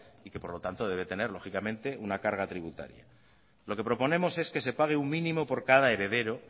y que por lo tanto debe tener lógicamente una carga tributaria lo que proponemos es que se pague un mínimo por cada heredero